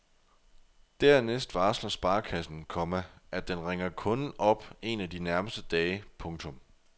Dernæst varsler sparekassen, komma at den ringer kunden op en af de nærmeste dage. punktum